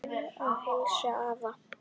Bið að heilsa afa.